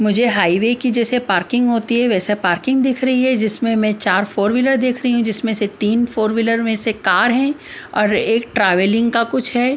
मुझे हाईवे की जैसे पार्किंग होती है वैसा पार्किंग दिख रही है जिसमें मैं चार फोर व्हीलर देख रही हूँ जिसमें से तीन फोर व्हीलर में से कार हैं और एक ट्रावेलिंग का कुछ है।